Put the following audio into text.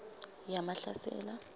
yamahlasela